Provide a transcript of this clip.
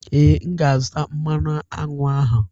Ee, m ga-azụta mmanụ aṅụ ahụ.